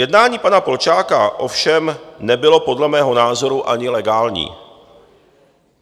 Jednání pana Polčáka ovšem nebylo podle mého názoru ani legální.